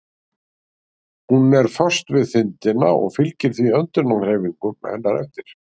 Hún er föst við þindina og fylgir því öndunarhreyfingum hennar eftir.